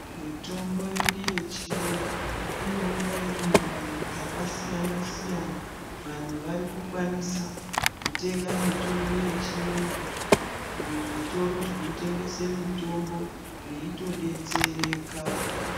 Mitombo yedu yechiyungu, inouya irimumbandu dzakasiyana siyana. Vanhu varikukwanisa kutenga mitombo yechiungu kuzvitoro zvinotengese mitombo veyitodetsereka.